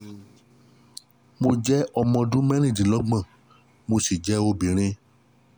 Mo jẹ́ ọmọ ọdún mẹ́rìndínlọ́gbọ̀n twenty six mo sì jẹ́ obìnrin